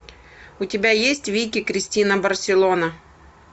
у тебя есть вики кристина барселона